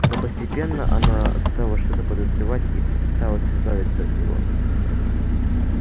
но постепенно она стала что-то подозревать и попыталась избавиться от него